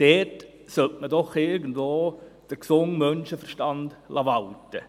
Dort sollte man doch irgendwo den gesunden Menschenverstand walten lassen.